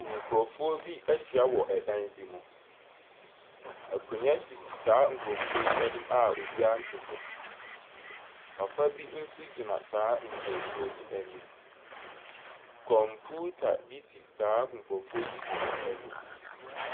Nkurɔfoɔ bi ahyia wɔ dan bi mu. Akonnwa sisi saa nkurɔfoɔ anim a obiara nte so. Papa bi nso gyina saa nkurɔfoɔ yi anim. Kɔmputa bi si saa nkurɔfoɔ yi binom anim.